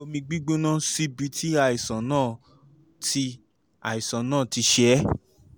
fi omi gbígbóná síbi tí àìsàn náà ti àìsàn náà ti ṣe é